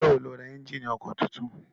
Ijọ́ wo lo ra ẹ́njíìnì ọkọ̀ titun?